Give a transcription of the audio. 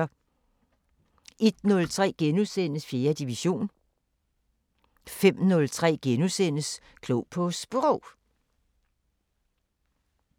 01:03: 4. division * 05:03: Klog på Sprog *